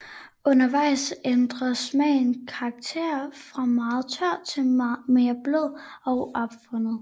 Undervejs ændrer smagen karakter fra meget tør til mere blød og afrundet